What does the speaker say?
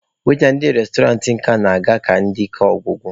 Waita ndị restọrantị nke a na-aga ike ọgwụgwụ.